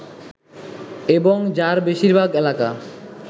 এবং যার বেশিরভাগ এলাকা